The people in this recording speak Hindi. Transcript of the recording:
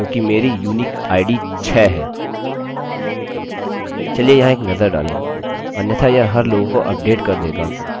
इसके स्थान पर मैं क्या कर सकता हूँ कि लिखता हूँ where firstname equals alex हालाँकि यह प्रत्येक रिकार्डअभिलेख अपडेट करेगा जिसका firstname alex है